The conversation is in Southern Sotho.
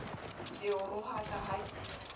ke o rohaka ha ke